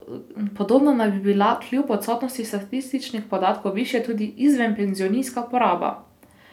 Podobno naj bi bila kljub odsotnosti statističnih podatkov višja tudi izvenpenzionska poraba.